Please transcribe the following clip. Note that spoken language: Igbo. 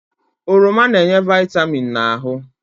Oroma na-enye vịtamịn n'ahụ